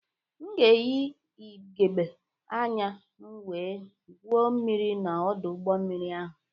M ga-eyị ịgegbe anya m wee gwuo mmiri na ọdọ mmiri ahụ